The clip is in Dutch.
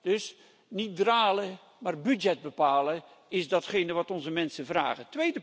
Dus niet dralen maar budget bepalen is wat onze mensen vragen.